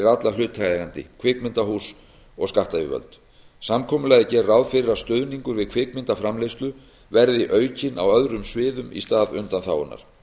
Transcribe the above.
alla hlutaðeigendur kvikmyndahús og skattyfirvöld samkomulagið gerir ráð fyrir að stuðningur við kvikmyndaframleiðslu veðri aukinn á öðrum sviðum í stað undanþágunnar